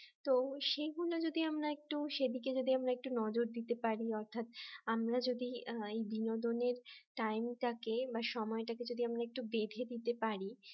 তো সেই গুলো যদি আমরা একটু সেদিকে যদি আমরা একটু নজর দিতে পারি অর্থাৎ আমরা যদি বিনোদনের time টাকে বা সময়টাকে যদি একটু বেঁধে দিতে পারি